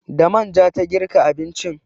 Da manja ta girka abincin.